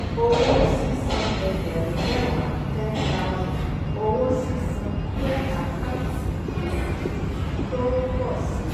owó sísan ẹgbẹ̀rún mẹ́wàá ten thousand owó sísan jẹ́ àkáǹtì gbèsè tó ń pọ̀ si.